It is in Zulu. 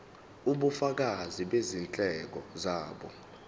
ubufakazi bezindleko zabo